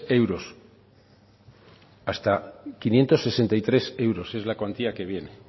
euros hasta quinientos sesenta y tres euros es la cuantía que viene